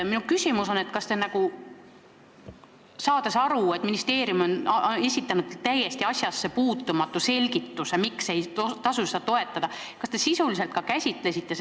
Minu küsimus on, kas te saades aru, et ministeerium on esitanud täiesti asjassepuutumatu selgituse, miks ei maksa seda ettepanekut toetada, sisuliselt ka seda ettepanekut käsitlesite.